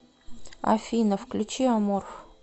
афина включи аморф